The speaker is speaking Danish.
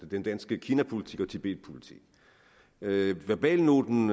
den danske kinapolitik og tibetpolitik verbalnoten